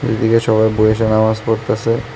এদিকে সবাই বইসে নামাজ পড়তাসে।